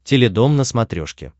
теледом на смотрешке